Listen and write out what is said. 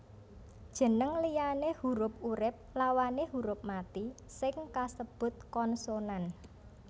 Jeneng liyane hurup urip lawané huruf mati sing kasebut konsonan